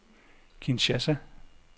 Kinshasa